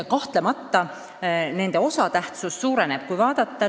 Kahtlemata nende osatähtsus suureneb.